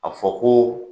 A fɔ ko